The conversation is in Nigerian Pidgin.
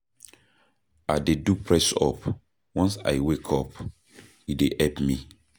I dey do press-up once I wake up, e dey help me.